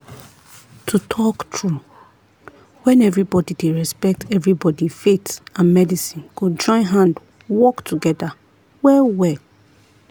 to tok true when everybody dey respect everybody faith and medicine go join hand work together well-well.